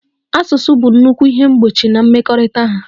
Asụsụ bụ nnukwu ihe mgbochi na mmekọrịta ha.